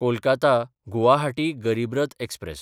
कोलकाता–गुवाहाटी गरीब रथ एक्सप्रॅस